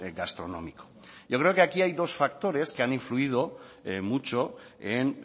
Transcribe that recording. gastronómico yo creo que aquí hay dos factores que han influido mucho en